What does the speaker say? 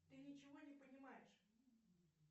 ты ничего не понимаешь